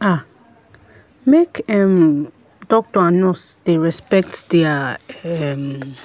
ah make um doctor and nurse dey respect their um